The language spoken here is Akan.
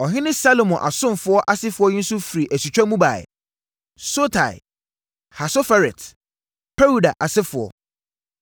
Ɔhene Salomo asomfoɔ asefoɔ yi nso firi asutwa mu baeɛ: 1 Sotai, Hasoferet, Peruda asefoɔ, 1